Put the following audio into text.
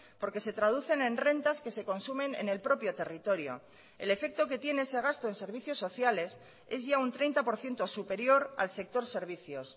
porque se traducen en rentas que se consumen en el propio territorio el efecto que tiene ese gasto en servicios sociales es ya un treinta por ciento superior al sector servicios